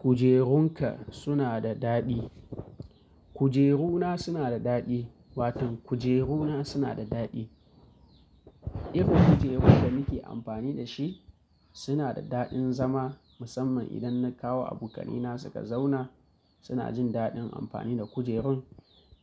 Kujerunka suna da daɗi. Kujeruna suna da daɗi, waton kujeruna suna da daɗi. Irin kujerun da nake amfani da shi suna da daɗin zama musamman idan na kawo abokanai na suka zauna suna jin daɗin amfani da kujerun